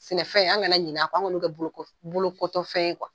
Sɛnɛfɛn ,an kana ɲin'a kɔ, an kan'aw kɛ bolokotɔfɛn ye kuwa!